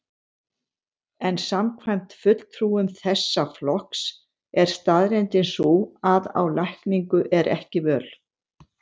En samkvæmt fulltrúum þessa flokks er staðreyndin sú að á lækningu er ekki völ.